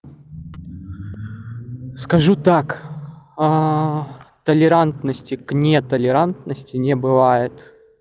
скажу так толерантности к не толерантности не бывает